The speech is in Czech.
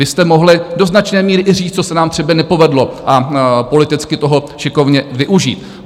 Vy jste mohli do značné míry i říct, co se nám třeba nepovedlo, a politicky toho šikovně využít.